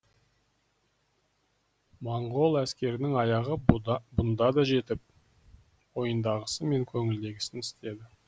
моңғол әскерінің аяғы бұнда да жетіп ойындағысы мен көңілдегісін істеді